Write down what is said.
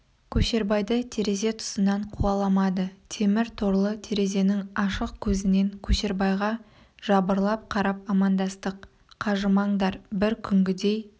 көшербайды терезе тұсынан қуаламады темір торлы терезенің ашық көзінен көшербайға жабырлап қарап амандастық қажымаңдар бір күнгідей